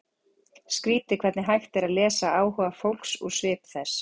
Skrýtið hvernig hægt er að lesa áhuga fólks úr svip þess.